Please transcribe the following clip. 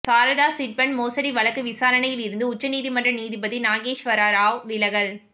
Saradha chit fund மோசடி வழக்கு விசாரணையில் இருந்து உச்சநீதிமன்ற நீதிபதி நாகேஷ்வர ராவ் விலகல்